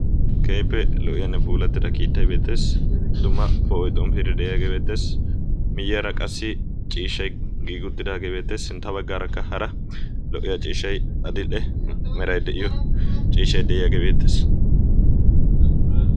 keehippe lo"iyaanne puulattida kiittai beettees. dumma po7oi xompiiddi de'iyaagee beettees. miyyaara qassi ciishai giigi uttidaagee beettees. sintta baggaarakka hara lo"iyaa ciishshai adidhe merai de'iyo ciishshai de'iyaagee beettees.